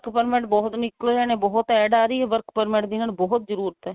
work permit ਬਹੁਤ ਨਿੱਕਲ ਰਹੇ ਨੇ ਬਹੁਤ add ਆ ਰਹੀ ਆ work permit ਦੀ ਇਹਨਾ ਨੂੰ ਬਹੁਤ ਜਰੂਰਤ ਏ